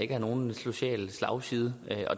giver nogen social slagside